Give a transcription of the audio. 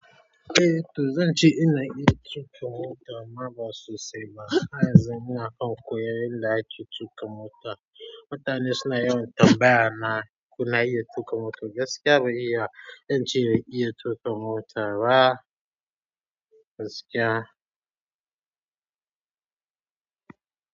Eh to zan ce ina iya tuƙa mota amma ba sosai ba. Haryanzu muna kan koyon yanda ake tuƙa mota. Mutane suna yawan tambaya na ko na iya tuƙa mota. Gaskiya ban iya, zance ban iya tuƙa mota ba gaskiya.